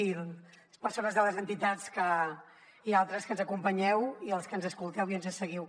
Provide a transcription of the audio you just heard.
i les persones de les entitats i altres que ens acompanyeu i els que ens escolteu i ens seguiu